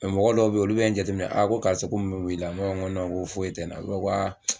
Mɛ mɔgɔ dɔw bɛ yen olu bɛ n jateminɛ ko karisa ko mun bɛ mun bɛ i la , m'a fɔ ko ko foyi tɛ n na